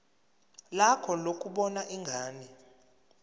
lakho lokubona ingane